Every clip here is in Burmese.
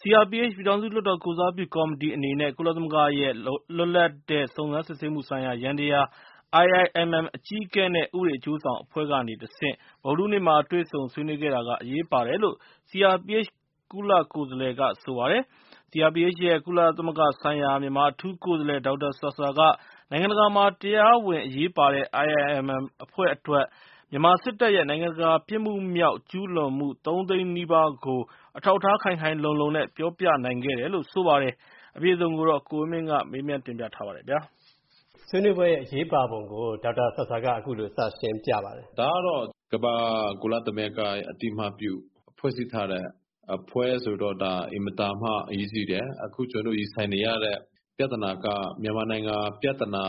CRPH ပြည်ထောင်စုလွှတ်တော်ကိုယ်စားပြုကော်မတီအနေနဲ့ ကုသမဂ္ဂရဲ့ လွတ်လပ်တဲ့စုံစမ်းစစ်ဆေးမူဆိုင်ရာယန္တယား အကြီးအကဲနဲ့ ဥပဒေအကျိုးဆောင်အဖွဲ့ကနေတဆင့် မနေ့ ဗုဒ္ဓဟူးနေ့မှာ တွေ့ဆုံဆွေးနွေးခဲ့တာက၊ အရေးပါတယ်လို့ CRPH ကုလကိုယ်စားလှယ်က ဆိုပါတယ်။ CRPH ရဲ့ ကုလသမဂ္ဂဆိုင်ရာ မြန်မာအထူးကိုယ်စားလှယ် ဒေါက်တာဆာဆာက၊ နိုင်ငံတကာမှာတရားဝင်အရေးပါတဲ့ IIMM အဖွဲ့အတွက်၊ မြန်မာစစ်တပ်ရဲ့ နိုင်ငံတကာပြစ်မူမြောက် ကျူးလွန်မူ ၃ သိန်းနီးပါးကို၊ အထောက်အထားခိုင်ခိုင်လုံလုံနဲ့ ပြောပြနိုင်ခဲ့တယ်လို့ ဆိုပါတယ်။ ကိုဝင်းမင်းက မေးထားပါတယ်။ ဝင်းမင်း ။ ။ အခုဆွေးနွေးပွဲရဲ့ အရေးပါပုံကို ဒေါက်တာဆာဆာက အခုလိုစရှင်းပြပါတယ်။ ဒေါက်တာဆာဆာ ။ ။ ဒါကတော့ ကမ္ဘာ့ကုလသမဂ္ဂရဲ့ အသိအမှတ်ပြု ဖွဲ့စည်းထားတဲ့ အဖွဲ့ဆိုတော့၊ ဒါ အင်မတန်မှ အရေးကြီးတယ်။ အခုကျွန်တော်တို့ ရင်ဆိုင်နေရတဲ့ပြဿနာက မြန်မာနိုင်ငံပြဿနာ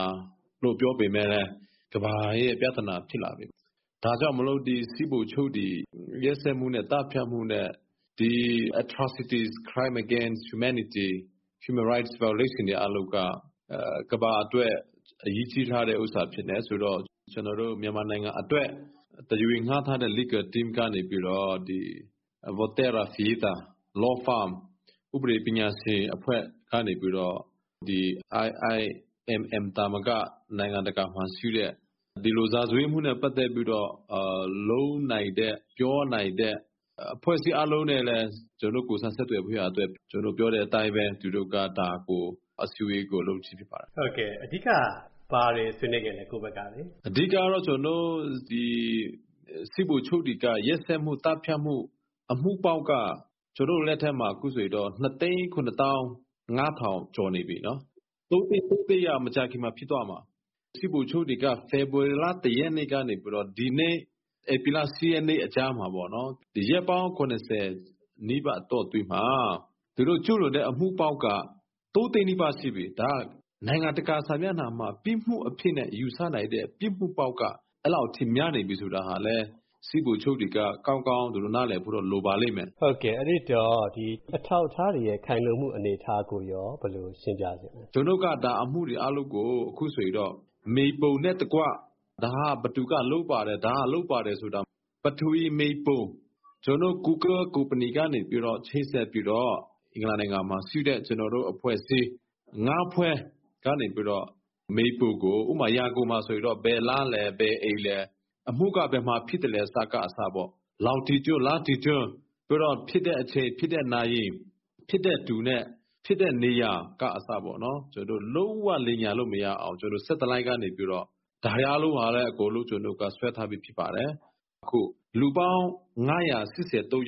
လို့ ပြောပေမဲ့လည်း၊ ကမ္ဘာရဲ့ပြဿနာဖြစ်လာပြီ။ ဒါကြောင့်မို့ စစ်ဗိုလ်ချုပ်တွေ ရက်စက်မူနဲ့ သတ်ဖြတ်မူနဲ့ ဒီ Atrocities ၊ Crime Against Humanity ၊ Human Rights Violations တွေအားလုံးက၊ ကမ္ဘာအတွက် အရေးကြီးထားတဲ့ဥစ္စာဖြစ်တယ်ဆိုတော့၊ ကျွန်တော်တို့ မြန်မာနိုင်ငံအတွက် တရားဝင်ငှားထားတဲ့ Legal Team ကနေပြီးတော့၊ ဒီ Volterra Fietta၊ Law Firm ဥပဒေပညာရှင်အဖွဲ့ကနေပြီးတော့၊ ဒီ IIMM အဖွဲ့သာမက၊ နိုင်ငံတကာမှာရှိတဲ့၊ ဒီလို ရာဇဝတ်မူနဲ့ပတ်သက်ပြီးတော့ လုပ်နိုင်တဲ့၊ ပြောနိုင်တဲ့ အဖွဲ့အစည်းအားလုံးနဲ့လည်း၊ ကျွန်တော်တို့ ကိုယ်စားဆက်သွယ်ဖို့ရန်အတွက်၊ ကျွန်တော်တို့ပြောတဲ့အတိုင်းပဲ၊ သူတို့က ဒါကို အစည်းအဝေးကို လုပ်ခြင်းဖြစ်ပါတယ်။ ဝင်းမင်း ။ ။ အဓိက ဘာတွေဆွေးနွေးခဲ့လဲ၊ ကိုယ့်ဘက်ကလေ။ ဒေါက်တာဆာဆာ ။ ။ ကျွန်တော်တို့ အဓိကကတော့၊ ဒီ စစ်ဗိုလ်ချုပ်တွေက၊ ရက်စက်မူ သတ်ဖြတ်မူ၊ အမူပေါင်းက၊ ကျွန်တော်တို့လက်ထဲမှာ အခုဆိုရင် ၂၇၅၀၀၀ ကျော်နေပြီနော်၊ ၃ သိန်း က မကြာခင်မှာဖြစ်တော့မှာ။ စစ်ဗိုလ်ချုပ်တွေက ဖေဖော်ဝါရီလ ၁ ရက်နေ့ကနေပြီးတော့၊ ဒီနေ့ ဧပြီလ ၈ ရက်နေ့အကြားမှာပေါ့နော်၊ ရက်ပေါင်း ၇၀ နီးပါး အတောအတွင်းမှာ၊ သူတို့ကျူးလွန်တဲ့ အမူပေါင်းက ၃ သိန်းနီးပါး ရှိပြီ။ ဒါက၊ နိုင်ငံတကာစာမျက်နှာမှာ၊ ပြစ်မူအနေနဲ့ယူဆနိုင်တဲ့ ပြစ်မူပေါင်းက၊ အဲ့လောက်အထိများနေပြီဆိုတာဟာလည်း၊ စစ်ဗိုလ်ချုပ်တွေက၊ ကောင်းကောင်း သူတို့ နားလည်ဖို့တော့ လိုပါလိမ့်မယ်။ ဝင်းမင်း ။ ။ ဒီအထောက်အထားတွေရဲ့ ခိုင်လုံမူကိုရော ဘယ်လို ရှင်းပြချင်လဲ။ ဒေါက်တာဆာဆာ ။ ။ ကျွန်တော်တို့က ဒါ အမူတွေအားလုံးကို အခုဆိုရင်တော့ မြေပုံနဲ့တကွ၊ ဒါဟာဘယ်သူက လုပ်ပါတယ်၊ ဒါဟာလုပ်ပါတယ်ဆိုတာ၊ ပထဝီမြေပုံ၊ ကျွန်တော်တို့ Google ကုမ္ပဏီကနေပြီးတော့၊ ချိတ်ဆက်ပြီးတော့၊ အင်္ဂလန် နိုင်ငံမှာရှိတဲ့၊ ကျွန်တော်တို့အဖွဲ့အစည်း ၅ ဖွဲ့ကနေပြီးတော့၊ မြေပုံကို၊ ဥပမာဆိုရင် ရန်ကုန်မှာဆိုရင်တော့၊ ဘယ်လမ်းလဲ၊ ဘယ်အိမ်လဲ၊ အမူက ဘယ်မှာဖြစ်သလဲကအစပေါ့၊ လောင်ဂျီတွဒ်၊ လတ္တီတွဒ်၊ နောက်ဖြစ်တဲ့အချိန်၊ ဖြစ်တဲ့နာရီ၊ ဖြစ်တဲ့သူနဲ့ ဖြစ်တဲ့နေရာက အစပေါ့နော်၊ လုံးဝလိမ်ညာလို့မရအောင်၊ ကျွန်တော်တို့ Satellite ကနေပြီးတော့၊ ဒါတွေအားလုံးဟာဆိုလို့ရှိရင်လဲ၊ ကျွန်တော်တို့က ဆွဲထားပြီးသားဖြစ်ပါတယ်။ အခု၊ လူပေါင်း ၅၈၃ ယောက် သတ်လို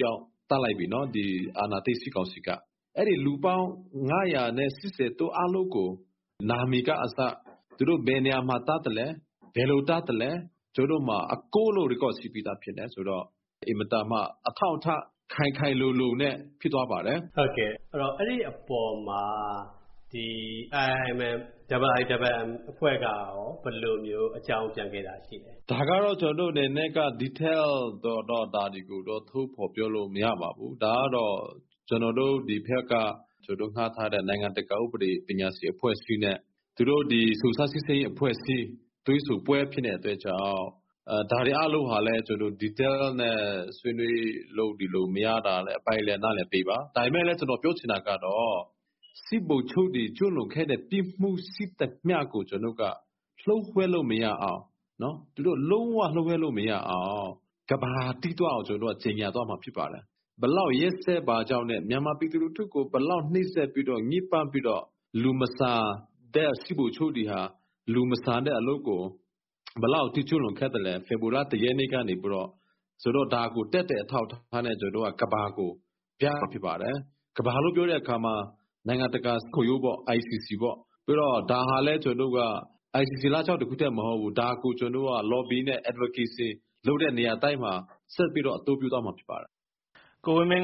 က်ပြီနော်၊ ဒီအာဏာသိမ်းစစ်ကောင်စီက။ အဲ့ဒီလူပေါင်း ၅၈၃ ယောက်၊ အားလုံးကို သူတို့နာမည်ကအစ၊ သူတို့ဘယ်နေရာမှာ သတ်သလဲ၊ ဘယ်လိုသတ်သလဲ၊ ကျွန်တော်တို့မှာ အကုန်လုံး Record ရှိပြီးသားဖြစ်တယ်ဆိုတော့၊ အင်မတန်မှ အထောက်အထား ခိုင်ခိုင်လုံလုံနဲ့ဖြစ်သွားပါတယ်။ ဝင်းမင်း ။ ။ အဲ့ဒီအပေါ်မှာ ဒီ IIMM အဖွဲ့ကရော၊ ဘယ်လိုအကြောင်းပြန်ခဲ့တာရှိလဲ။ ဒေါက်တာဆာဆာ ။ ။ ဒါကတော့ ကျွန်တော်တို့အနေနဲ့က Detail ကိုတော့ ဒါတွေကိုတော့ ထုတ်ဖော်ပြောလို့ မရပါဘူး။ ဒါကတော့ ကျွန်တော်တို့ ဒီဘက်က ငှားထားတဲ့ နိုင်ငံတကာ ဥပဒေပညာရှင်အဖွဲ့အစည်းနဲ့၊ သူတို့ ဒီ စုံစမ်းစစ်ဆေးရေးအဖွဲ့အစည်း တွေ့ဆုံပွဲဖြစ်နေတဲ့အတွက်ကြောင့်၊ ဒါတွေအားလုံးဟာလည်း ကျွန်တော်တို့ Detail နဲ့ ဆွေးနွေးလို့၊ ဒီလို မရတာလည်း အပိုင်းလည်း၊ နားလည်ပေးပါ။ ဒါပေမဲ့ ကျွန်တော်ပြောချင်တာကတော့၊ စစ်ဗိုလ်ချုပ်တွေ ကျူးလွန်ခဲ့တဲ့ ပြစ်မူရှိသမျှကို ကျွန်တော်တို့က၊ လျို.ဝှက်လို့မရအောင်၊ သူတို့ လုံးဝလျို.ဝှက်လို့မရအောင်၊ ကမ္ဘာကသိသွားအောင်၊ ကျွန်တော်တို့က ကြေညာသွားမှာဖြစ်ပါတယ်။ ဘယ်လောက်ရက်စက်ပါကြောင်းနဲ့၊ မြန်မာပြည်သူလူထုကို ဘယ်လောက် နှိပ်စက်ပြီးတော့၊ ညစ်ပတ်ပြီးတော့၊ လူမဆန်တဲ့ စစ်ဗိုလ်ချုပ်တွေဟာ၊ လူမဆန်တဲ့အလုပ်ကို၊ ဘယ်လောက်ထိ ကျုးလွန်ခဲ့သလဲ၊ ဖေဖော်ဝါရီလ ၁ ရက်နေ့ကနေပြီးတော့၊ ဆိုတော့ ဒါကို သက်သေအထောက်အထားနဲ့ ကျွန်တော်တို့က၊ ကမ္ဘာကိုပြမှာဖြစ်ပါတယ်။ ကမ္ဘာလို့ပြောတဲ့အခါမှာ၊ နိုင်ငံတကာရာဇဝတ်မူခုံရုံးပေါ့၊ ICC ပေါ့။ ပြီးတော့ ဒါဟာလည်း ကျွန်တော်တို့က၊ ICC လမ်းကြောင်း တစ်ခုထဲမဟုတ်ဘူး။ ဒါကို ကျွန်တော်တို့က Lobby နဲ့ Advocacy လုပ်တဲ့နေရာတိုင်းမှာ၊ ဆက်ပြီးတော့ အသုံးပြုသွားမှာဖြစ်ပါတယ်။ ဝင်းမင်း